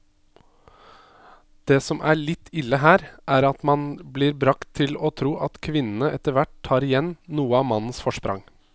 Det som er litt ille her, er at man blir bragt til å tro at kvinnene etterhvert tar igjen noe av mannens forsprang.